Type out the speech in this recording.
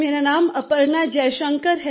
मेरा नाम अपर्णा जयशंकर है